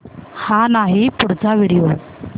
हा नाही पुढचा व्हिडिओ